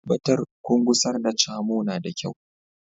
Tabbatar kun gusar da Camo na da kyau